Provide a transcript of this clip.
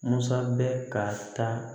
Musa bɛ ka taa